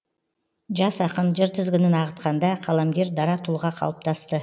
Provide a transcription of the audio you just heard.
жас ақын жыр тізгінін ағытқанда қаламгер дара тұлға қалыптасты